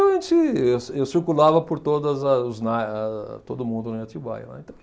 Então, a gente eu eu circulava por todas as os na eh todo mundo em Atibaia, né, então.